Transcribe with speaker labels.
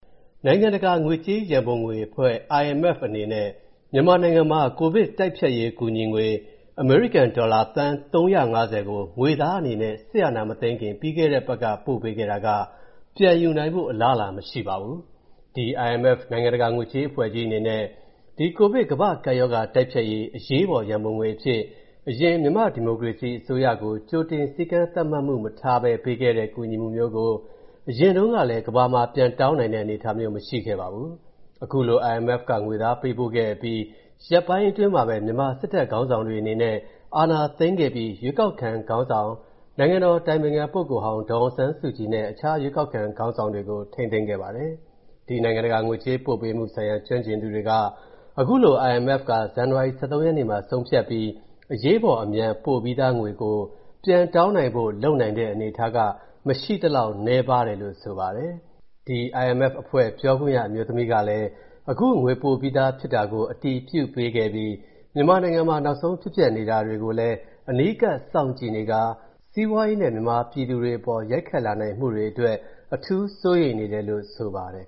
Speaker 1: နိုင်ငံတကာငွေကြေးရန်ပုံငွေအဖွဲ့ (IMF) အနေနဲ့ မြန်မာနိုင်ငံမှာ ကိုဗစ်တိုက်ဖျက်ရေးကူညီငွေ အမေရိကန်ဒေါ်လာ သန်း ၃၅၀ ကို ငွေသားအနေနဲ့ စစ်အာဏာမသိမ်းခင် ပြီးခဲ့တဲ့အပတ်ကပဲ ပို့ခဲ့တာက ပြန်ယူနိုင်ဖို့ အလားအလာမရှိပါဘူး။ ဒီ IMF နိုင်ငံတကာငွေကြေး အဖွဲ့ကြီးအနေနဲ့ ဒီ ကိုဗစ်ကမ္ဘာ့ကပ်ရောဂါတိုက်ဖျက်ရေးအရေးပေါ်ရန်ပုံငွေအဖြစ် အရင်မြန်မာ့ဒီမိုကရေစီအစိုးရကို ကြိုတင်စည်းကမ်းသတ်မှတ်မှု မထားဘဲပေးခဲ့တဲ့ ကူညီမှုမျိုးကို အရင်တုန်းကလည်း ကမ္ဘာမှာ ပြန်တောင်းနိုင်တဲ့ အနေအထားမျိုး မရှိခဲ့ဖူးပါဘူး။ အခုလို IMF က ငွေသားပေးပို့ခဲ့အပြီး ရက်ပိုင်းတွင်းမှာပဲ မြန်မာစစ်တပ်ခေါင်းဆောင်တွေအနေနဲ့ အာဏာသိမ်းခဲ့ပြီး ရွေးကောက်ခံခေါင်းဆောင် နိုင်ငံတော်အတိုင်ပင်ခံပုဂ္ဂိုလ်ဟောင်း ဒေါ်အောင်ဆန်းစုကြည်နဲ့ အခြားရွေးကောက်ခံခေါင်းဆောင်တွေကို ထိန်းသိမ်းခဲ့ပါတယ်။ ဒီနိုင်ငံတကာငွေကြေးပေးပို့မှုဆိုင်ရာ ကျွမ်းကျင်သူတွေက အခုလို IMF က ဇန်နဝါရီ ၁၃ ရက်မှာ ဆုံးဖြတ်ပြီး အရေးပေါ်အမြန် ပို့ပြီးသားငွေကို ပြန်တောင်းနိုင်ဖို့ လုပ်နိုင်တဲ့အနေအထားက မရှိသလောက်နည်းပါတယ်လို့ ဆိုပါတယ်။ ဒီ IMF အဖွဲ့ ပြောခွင့်ရ အမျိုးသမီးကလည်း အခုငွေပို့ပြီးဖြစ်တာကို အတည်ပြုပေးခဲ့ပြီး မြန်မာနိုင်ငံမှာ နောက်ဆုံးဖြစ်ပျက်နေတာတွေကိုလည်း အနီးကပ်စောင့်ကြည့်နေခါ စီးပွားရေးနဲ့ မြန်မာပြည်သူတွေအပေါ် ရိုက်ခတ်လာနိုင်မှုတွေအတွက် အထူးစိုးရိမ်နေတယ်လို့ ဆိုပါတယ်